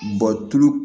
tulu